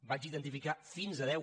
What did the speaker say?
vaig identificar fins a deu